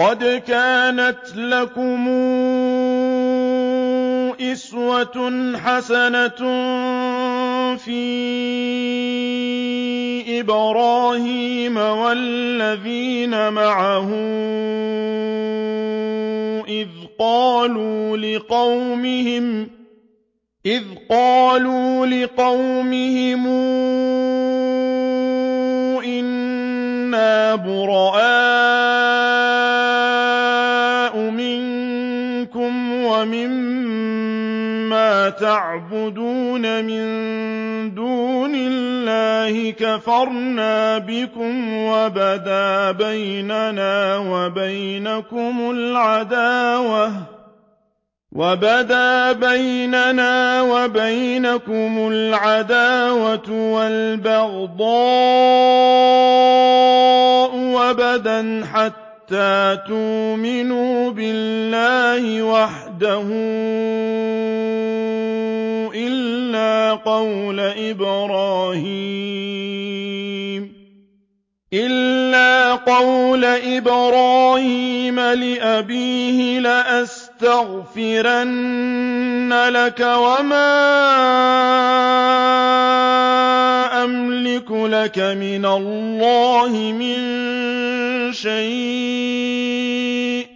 قَدْ كَانَتْ لَكُمْ أُسْوَةٌ حَسَنَةٌ فِي إِبْرَاهِيمَ وَالَّذِينَ مَعَهُ إِذْ قَالُوا لِقَوْمِهِمْ إِنَّا بُرَآءُ مِنكُمْ وَمِمَّا تَعْبُدُونَ مِن دُونِ اللَّهِ كَفَرْنَا بِكُمْ وَبَدَا بَيْنَنَا وَبَيْنَكُمُ الْعَدَاوَةُ وَالْبَغْضَاءُ أَبَدًا حَتَّىٰ تُؤْمِنُوا بِاللَّهِ وَحْدَهُ إِلَّا قَوْلَ إِبْرَاهِيمَ لِأَبِيهِ لَأَسْتَغْفِرَنَّ لَكَ وَمَا أَمْلِكُ لَكَ مِنَ اللَّهِ مِن شَيْءٍ ۖ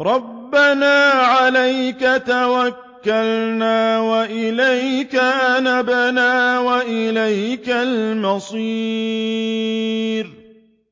رَّبَّنَا عَلَيْكَ تَوَكَّلْنَا وَإِلَيْكَ أَنَبْنَا وَإِلَيْكَ الْمَصِيرُ